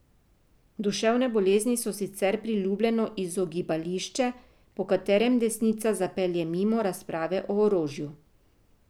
Duševne bolezni so sicer priljubljeno izogibališče, po katerem desnica zapelje mimo razprave o orožju.